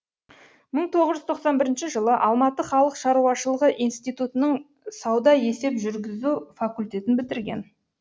мың тоғыз жүз тоқсан бірінші жылы алматы халық шаруашылығы институтынын саудаесеп жүргізу факультетін бітірген